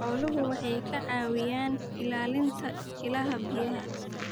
Xooluhu waxay ka caawiyaan ilaalinta ilaha biyaha.